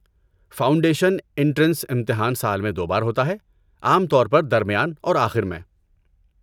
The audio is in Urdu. فاؤنڈیشن انٹرنس امتحان سال میں دو بار ہوتا ہے، عام طور پر درمیان اور آخر میں۔